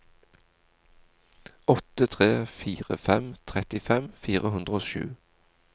åtte tre fire fem trettifem fire hundre og sju